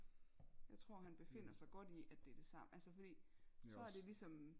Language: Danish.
Jeg tror han befinder sig godt i at det er det samme altså fordi så er det ligesom